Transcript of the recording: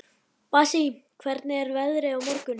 Bassí, hvernig er veðrið á morgun?